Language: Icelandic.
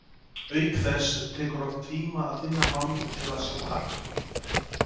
Auk þess tekur oft tíma að finna mann til að svara.